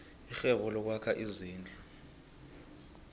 irhwebo lokwakha izindlu